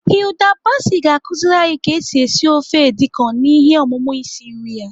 Hilda Baci ga-akụziri anyi ka esi esi ofe edi kan na ihe ọmụmụ isi nri ya.